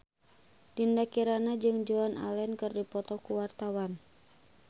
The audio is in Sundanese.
Dinda Kirana jeung Joan Allen keur dipoto ku wartawan